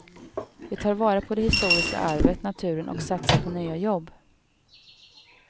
Vi tar vara på det historiska arvet, naturen och satsar på nya jobb.